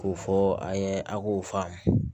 K'o fɔ an ye a k'o faamu